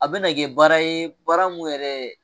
A bɛna kɛ baara ye baara mun yɛrɛ